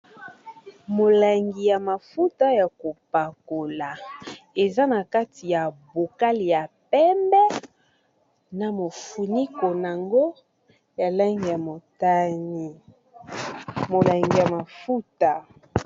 Molangi ya mafuta ya kopakola eza na kati ya bokali ya pembe na mofuni konango ya langi ya motani molangi ya mafuta